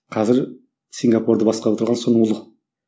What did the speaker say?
қазір сингапурды басқарып отырған соның ұлы